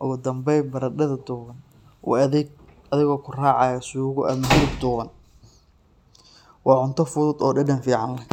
Ugu dambeyn, baradhada duban u adeeg adigoo ku raacaya suugo ama hilib duban. Waa cunto fudud oo dhadhan fiican leh.